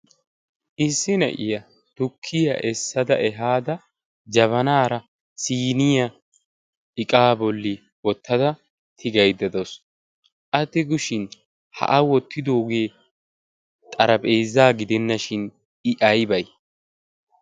issi na'iyaa tukkiyaa essada ehaada jabanaara siyniya iqaa bolli wottada tigaiddadoos atti gushin ha a wottidoogee xarapheezaa gidennashin i aybee?